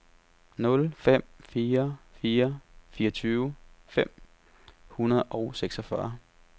nul fem fire fire fireogtyve fem hundrede og seksogfyrre